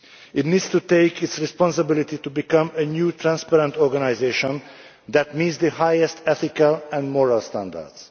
It needs to take responsibility to become a new transparent organisation that meets the highest ethical and moral standards.